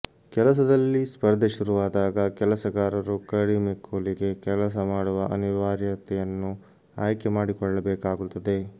ಕೆಲಸದಲ್ಲಿ ಸ್ಪರ್ಧೆ ಶುರುವಾದಾಗ ಕೆಲಸಗಾರರು ಕಡಿಮೆ ಕೂಲಿಗೆ ಕೆಲಸ ಮಾಡುವ ಅನಿವಾರ್ಯತೆಯನ್ನು ಆಯ್ಕೆ ಮಾಡಿಕೊಳ್ಳಬೇಕಾಗುತ್ತದೆ